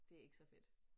Det ikke så fedt